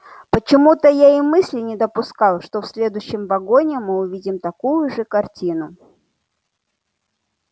почему-то я и мысли не допускал что в следующем вагоне мы увидим такую же картину